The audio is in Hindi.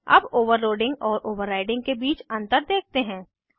अब ओवरलोडिंग और ओवर्राइडिंग के बीच अंतर देखते हैं